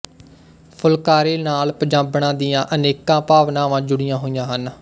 ਫੁਲਕਾਰੀ ਨਾਲ ਪੰਜਾਬਣਾਂ ਦੀਆਂ ਅਨੇਕਾਂ ਭਾਵਨਾਵਾਂ ਜੁੜੀਆਂ ਹੋਈਆ ਹਨ